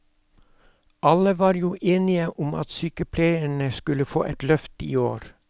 Alle var jo enige om at sykepleierne skulle få et løft i år.